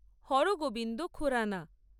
Hargobind Khurrana